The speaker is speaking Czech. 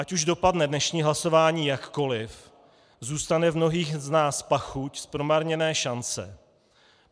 Ať už dopadne dnešní hlasování jakkoliv, zůstane v mnohých z nás pachuť z promarněné šance.